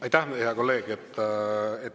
Aitäh, hea kolleeg!